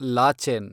Lachen